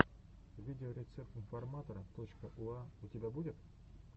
видеорецепт информатора точка уа у тебя будет